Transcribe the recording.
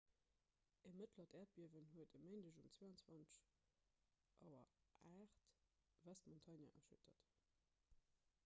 e mëttlert äerdbiewen huet e méindeg um 22.08 auer west-montana erschüttert